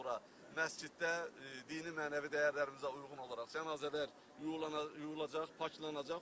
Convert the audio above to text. Daha sonra məsciddə dini mənəvi dəyərlərimizə uyğun olaraq cənazələr yuyulacaq, paklanacaq.